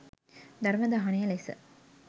ධර්ම දානය ලෙස